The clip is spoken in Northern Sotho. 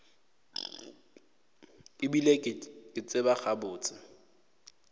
e bile ke tseba gabotse